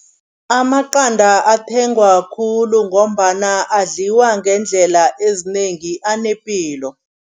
Amaqanda athengwa khulu ngombana adliwa ngeendlela ezinengi, anepilo.